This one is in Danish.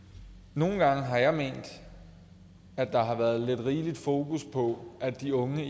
nogle gange har jeg ment at der har været lidt rigelig fokus på at de unge